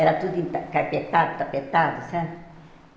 Era tudo enta carpetado, tapetado, sabe?